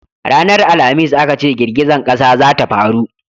ranar alhamis a ka ce girgizan ƙasa za ta faru